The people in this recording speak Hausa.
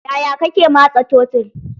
Yaya kake matsa tottle?